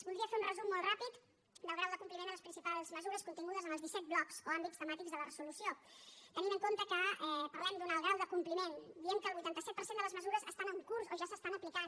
voldria fer un resum molt ràpid del grau de compliment de les principals mesures contingudes en els disset blocs o àmbits temàtics de la resolució tenint en compte que parlem d’un alt grau de compliment diem que el vuitanta set per cent de les mesures estan en curs o ja s’estan aplicant